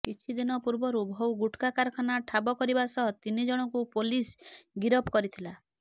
କିଛିଦିନ ପୂର୍ବରୁ ବହୁ ଗୁଟ୍ଖା କାରଖାନା ଠାବ କରିବା ସହ ତିନି ଜଣଙ୍କୁ ପୋଲିସ ଗିରଫ କରିଥିଲା